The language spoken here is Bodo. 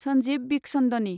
सन्जीब बिखचन्दनि